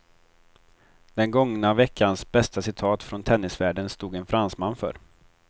Den gångna veckans bästa citat från tennisvärlden stod en fransman för.